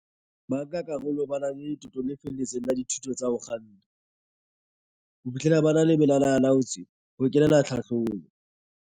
Bankakarolo ba na le letoto le felletseng la dithuto tsa ho kganna, ho fihlela ba le malala a laotswe ho kenela tlhahlobo.